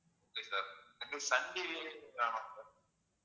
okay sir எனக்கு Sun TV வேணும் sir